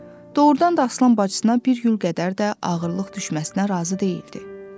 Doğurdan da Aslan bacısına bir gül qədər də ağırlıq düşməsinə razı deyildi.